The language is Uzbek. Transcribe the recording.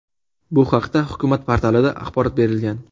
Bu haqda Hukumat portalida axborot berilgan .